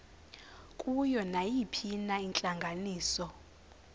kuyo nayiphina intlanganiso